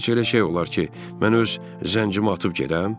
Heç elə şey olar ki, mən öz zəncimi atıb gedəm?